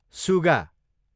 सुगा